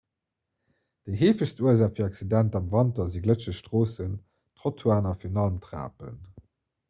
déi heefegst ursaach fir accidenter am wanter si glëtscheg stroossen trottoiren a virun allem trapen